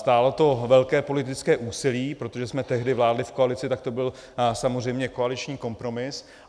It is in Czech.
Stálo to velké politické úsilí, protože jsme tehdy vládli v koalici, tak to byl samozřejmě koaliční kompromis.